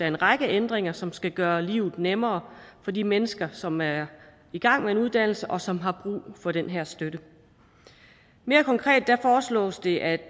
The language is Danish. en række ændringer som skal gøre livet nemmere for de mennesker som er i gang med en uddannelse og som har brug for den her støtte mere konkret foreslås det at